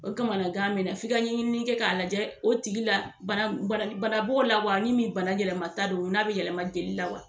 O kamanagan be na f'i ka ŋɛɲini kɛ k'a lajɛ o tigi la bana bana banabɔ la wa ni min bana yɛlɛma ta don n'a be yɛlɛma deli la wa